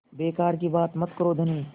बेकार की बात मत करो धनी